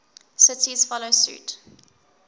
cities follow suit